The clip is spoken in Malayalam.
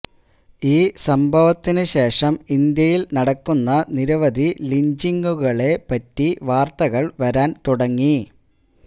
ഈ സംഭവത്തിന് ശേഷം ഇന്ത്യയില് നടക്കുന്ന നിരവധി ലിഞ്ചിങ്ങുകളെ പറ്റി വാര്ത്തകള് വരാന് തുടങ്ങി